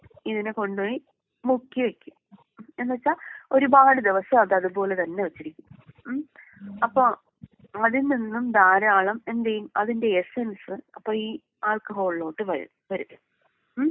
ഇതിനെ കൊണ്ട് പോയി മുക്കി വെക്കും. എന്ന് വെച്ചാ ഒരുപാട് ദിവസം അത് അത്പോലെ തന്നെ വെച്ചിരിക്കും. മ്മ്. അപ്പൊ അതിൽ നിന്നും ധാരാളം എന്തെയ്യും അതിന്റെ എസെൻസ് അപ്പൊ ഈ ആൽക്കഹോളിലോട്ട് വരും. ഉം.